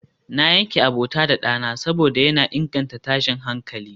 na yanke abota da dana saboda yana inganta tashin hankali